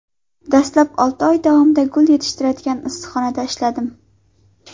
Dastlab olti oy davomida gul yetishtiriladigan issiqxonada ishladim.